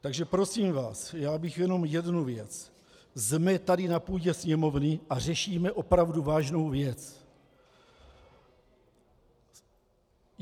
Takže prosím vás, já bych jenom jednu věc - jsme tady na půdě Sněmovny a řešíme opravdu vážnou věc.